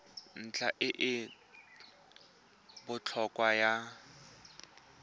ntlha e e botlhokwa ya